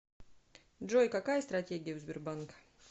джой какая стратегия у сбербанка